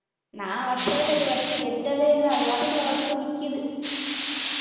நான் வச்சதுல இது வரைக்கும் வெட்டவே இல்லை அது பாட்டுக்குள்ள வளர்ந்து நிக்குது